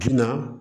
Jina